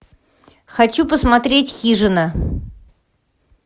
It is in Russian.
хочу посмотреть хижина